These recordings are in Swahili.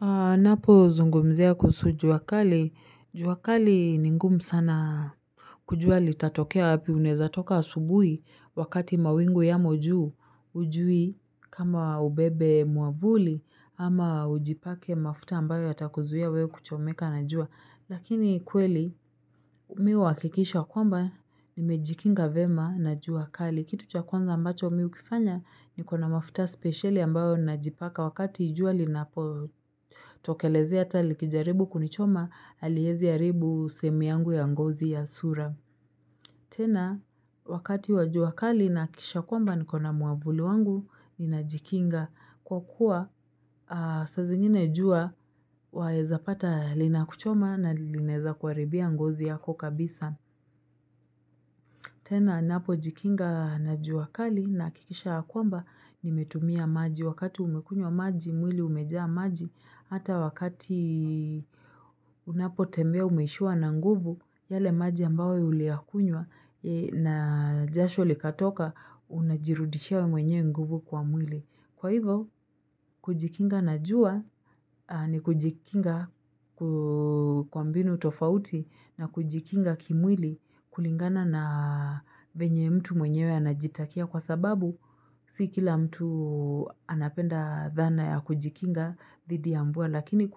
Anapo zungumzia kuhusu jua kali. Jua kali ni ngumu sana kujua litatokea wapi unaweza toka asubui wakati mawingu yamo juu hujui kama ubebe mwavuli ama ujipake mafuta ambayo atakuzuia wewe kuchomeka na jua. Lakini kweli mimi huwakikisha kwamba nimejikinga vyema na juakali. Kitu cha kwanza ambacho mimi hukifanya nikona mafuta speciali ambayo najipaka wakati jua linapo tokelezea hata likijaribu kunichoma aliwezi haribu sehemu yangu ya ngozi ya sura. Tena wakati wa jua kali na hakikisha kwamba nikona mwavuli wangu ni najikinga kwa kuwa saa zingine jua waezapata linakuchoma na linaweza kuharibia ngozi yako kabisa. Tena napo jikinga na jua kali na hakikisha kwamba nimetumia maji wakati umekuywa maji mwili umejaa maji hata wakati unapo tembea umeishiwa na nguvu yale maji ambayo uliyakuywa na jasho likatoka unajirudishia wewe mwenye nguvu kwa mwili. Kwa hivo, kujikinga na jua ni kujikinga kwa mbinu tofauti na kujikinga kimwili kulingana na venye mtu mwenyewe anajitakia kwa sababu si kila mtu anapenda dhana ya kujikinga dhidi ya mvua lakini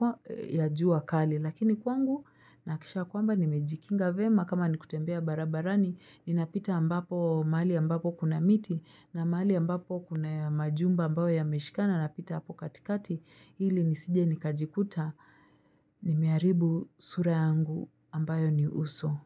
ya jua kali. Lakini kwangu nahakikisha kwamba nimejikinga vyema kama nikutembea barabarani ninapita ambapo mahali ambapo kuna miti na mahali ambapo kuna majumba ambayo yameshikana napita hapo katikati ili nisije nikajikuta nimeharibu sura yangu ambayo ni uso.